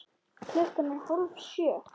Klukkan er hálf sjö.